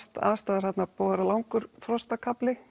aðstæður þarna búið að vera langur